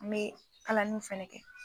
N me kalaliw fɛnɛ kɛ